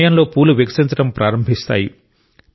ఈ సమయంలో పూలు వికసించడం ప్రారంభిస్తాయి